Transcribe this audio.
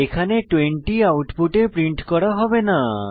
এখানে 20 আউটপুটে প্রিন্ট করা হবে না